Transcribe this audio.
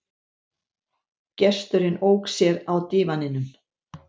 Gesturinn ók sér á dívaninum.